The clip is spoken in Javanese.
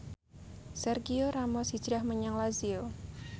Sergio Ramos hijrah menyang Lazio